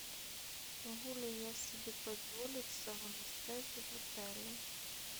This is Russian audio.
могу ли я себе позволить салоны связи в отеле